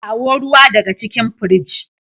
kawo ruwa daga cikin fridge.